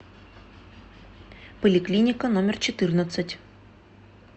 поликлиника номер четырнадцать